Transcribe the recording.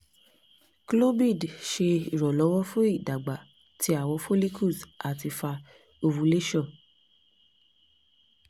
clomid ṣe iranlọwọ fun idagba ti awọn follicles ati fa ovulation